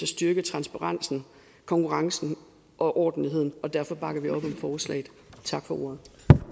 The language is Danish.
styrke transparensen konkurrencen og ordentligheden og derfor bakker vi op om forslaget tak for ordet